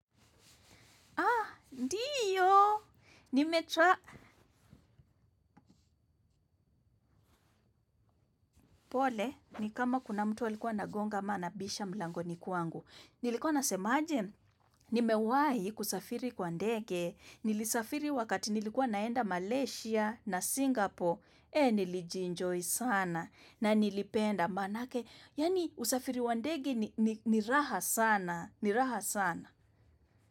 Haa, ndiyo, nimetra pole ni kama kuna mtu alikuwa anagonga ama anabisha mlangoni kwangu. Nilikuwa nasemaje, nimewahi kusafiri kwa ndege, nilisafiri wakati nilikuwa naenda Malaysia na Singapore, ee nilijienjoy sana na nilipenda manake, yaani usafiri wa ndege ni raha sana, ni raha sana.